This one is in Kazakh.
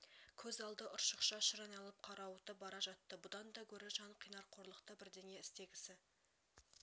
көз алды ұршықша шыр айналып қарауытып бара жатты бұдан да гөрі жан қинар қорлықты бірдеңе істегісі